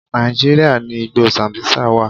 Nàíjíríà ni igbó Sambisa wà.